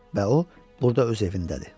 Və o burda öz evindədir.